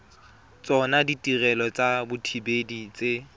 tsona ditirelo tsa dithibedi tse